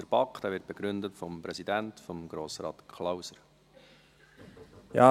der BaK. Dieser wird begründet von deren Präsidenten, Grossrat Klauser.